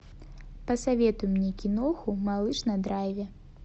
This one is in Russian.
посоветуй мне киноху малыш на драйве